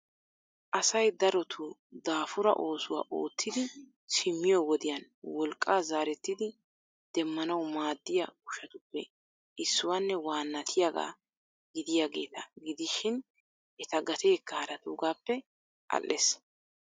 asay darotoo daafura oosuwaa oottidi simmiyo wodiyaan wolqqa zaaretidi demmanaw maaddiya ushshatupe issuwanne waanatiyaaga gidiyaageeta gidishin eta gateekka haratuugappe al''ees.